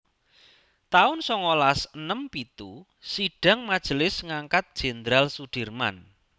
taun songolas enem pitu Sidhang majelis ngangkat Jendral Sudirman